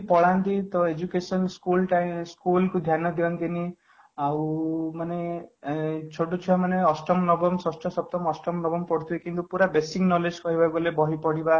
ପଲାନ୍ତି ତ education school time school କୁ ଧ୍ୟାନ ଦିଅନ୍ତିନି ଆଉ ମାନେ ଏଁ ଛୋଟ ଛୁଆ ମାନେ ଅଷ୍ଟମ ନବମ ଷଷ୍ଠ ସପ୍ତମ ଅଷ୍ଟମ ନବମ ପଢୁଥିବେ କିନ୍ତୁ ପୁରା basic knowledge କହିବାକୁ ଗଲେ ବହି ପଢିବା